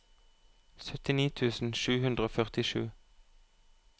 syttini tusen sju hundre og førtisju